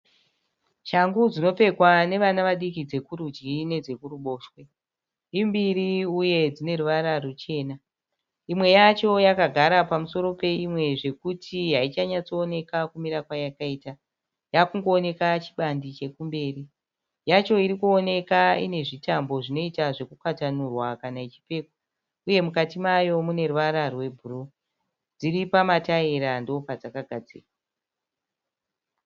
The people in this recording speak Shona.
Shangu dzinopfekwa nevana vadiki dzekurudyi nedze kuruboshswe. Imbiri uye dzine ruvara ruchena . Imwe yacho yakagara pamusoro peimwe zvokuti haichanyatsoonekwa kumira kwayakaita . Yakungooneka chibandi chekumberi. Yacho iri kuoneka ine zvitambo zvinoita sezvukwatanurwa kana ichipfekwa uye mukati mayo mune ruvara rwebhuruu. Dziri pamataira ndipo padzakagadzikwa.